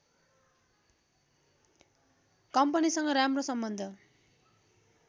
कम्पनीसँग राम्रो सम्बन्ध